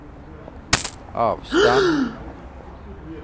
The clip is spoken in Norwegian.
avstand